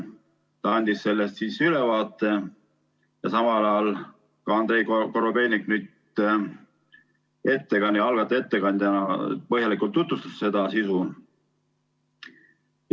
Ta andis sellest ülevaate ja algataja ettekandjana põhjalikult tutvustas eelnõu sisu.